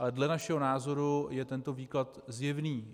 Ale dle našeho názoru je tento výklad zjevný.